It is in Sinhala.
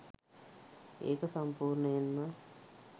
ඒක සම්පූර්ණයෙන්ම